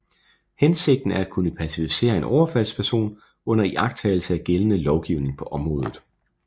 Hensigten er at kunne pacificere en overfaldsperson under iagtagelse af gældende lovgivning på området